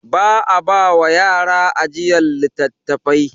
Ba a ba wa yara ajiyar littattafai.